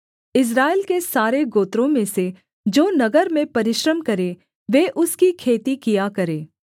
इस्राएल के सारे गोत्रों में से जो नगर में परिश्रम करें वे उसकी खेती किया करें